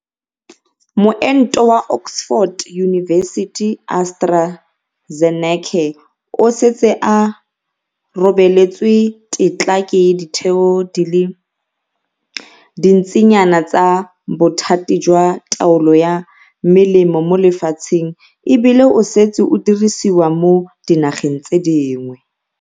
Moento wa Oxford University-AstraZeneca o setse o robeletswe tetla ke ditheo di le dintsinyana tsa bothati jwa taolo ya melemo mo lefatsheng e bile o setse o dirisiwa mo dinageng tse dingwe.